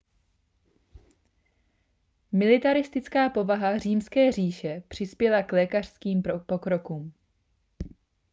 militaristická povaha římské říše přispěla k lékařským pokrokům